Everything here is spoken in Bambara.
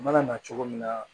Mana na cogo min na